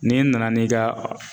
N'i nana n'i ka